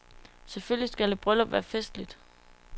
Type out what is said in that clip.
Selvfølgelig skal et bryllup være festligt.